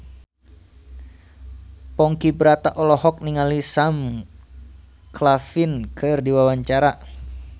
Ponky Brata olohok ningali Sam Claflin keur diwawancara